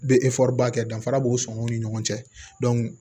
Bɛ ba kɛ danfara b'u sɔn u ni ɲɔgɔn cɛ